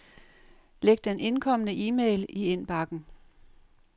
Læg den indkomne e-mail i indbakken.